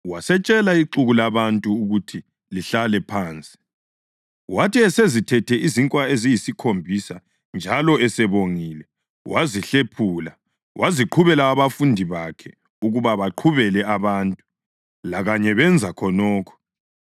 Wasetshela ixuku labantu ukuthi lihlale phansi. Wathi esezithethe izinkwa eziyisikhombisa njalo esebongile, wazihlephula waziqhubela abafundi bakhe ukuba baqhubele abantu. Lakanye benza khonokho.